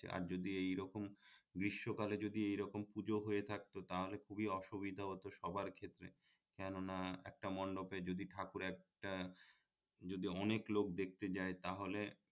আর যদি এই রকম গ্রীষ্ম কালে যদি এই রকম পুজো হয়ে থাকতো তাহলে খুবই অসুবিধা হতো সবার ক্ষেত্রে কেননা একটা মন্ডপে যদি ঠাকুর একটা যদি অনেক লোক দেখতে যায় তাহলে